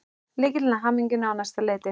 Lykillinn að hamingjunni á næsta leiti.